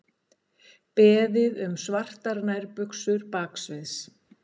Beðið um svartar nærbuxur baksviðs